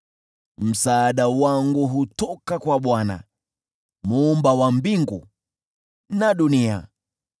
Msaada wangu hutoka kwa Bwana , Muumba wa mbingu na dunia.